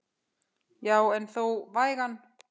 Já en þó vægan.